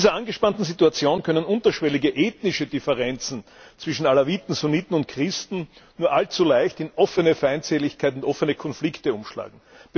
In dieser angespannten Situation können unterschwellige ethnische Differenzen zwischen Alawiten, Sunniten und Christen nur allzu leicht in offene Feindseligkeiten und offene Konflikte umschlagen.